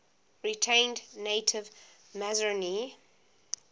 retained native masonry